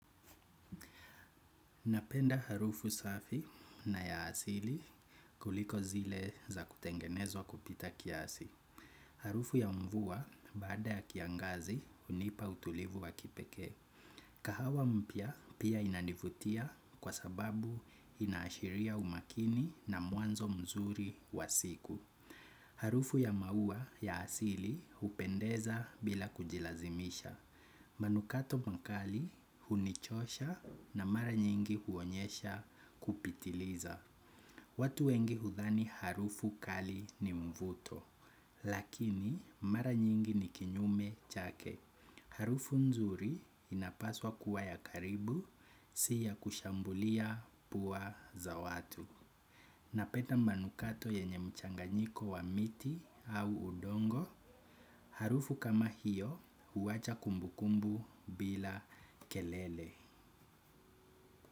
Napenda harufu safi na ya asili kuliko zile za kutengenezwa kupita kiasi. Harufu ya mvua baada ya kiangazi hunipa utulivu wa kipekee. Kahawa mpya pia inanivutia kwa sababu inashiria umakini na mwanzo mzuri wa siku. Harufu ya maua ya asili hupendeza bila kujilazimisha. Manukato makali hunichosha na mara nyingi huonyesha kupitiliza watu wengi hudhani harufu kali ni mvuto lakini mara nyingi ni kinyume chake harufu nzuri inapaswa kuwa ya karibu si ya kushambulia puwa za watu napenda manukato yenye mchanganyiko wa miti au udongo harufu kama hiyo huacha kumbu kumbu bila kelele.